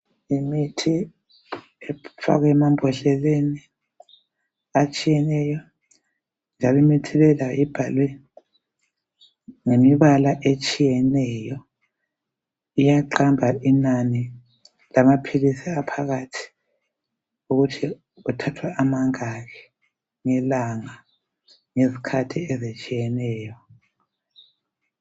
Imithi efakwe emambhodleleni atshiyeneyo , njalo imithi le layo ibhalwe ngemibala etshiyeneyo iyaqamba inani lamaphilizi aphakathi ukuthi kuthathwa amangaki ngelanga ngezikhathi ezitshiyeneyo